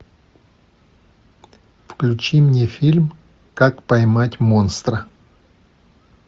включи мне фильм как поймать монстра